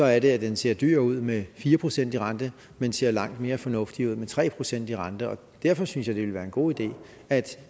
er det at den ser dyr ud med fire procent i rente men ser langt mere fornuftig ud med tre procent i rente og derfor synes jeg det vil være en god idé at